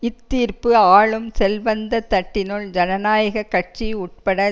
இத்தீர்ப்பு ஆளும் செல்வந்த தட்டினுள் ஜனநாயக கட்சி உட்பட